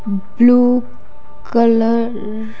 blue colour --